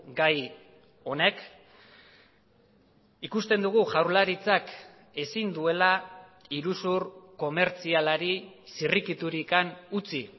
gai honek ikusten dugu jaurlaritzak ezin duela iruzur komertzialari zirrikiturik utzi